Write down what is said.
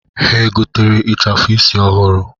Ha egotere ịchafụ isi ọhụrụ?